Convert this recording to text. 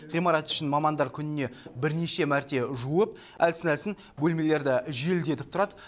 ғимарат ішін мамандар күніне бірнеше мәрте жуып әлсін әлсін бөлмелерді желдетіп тұрады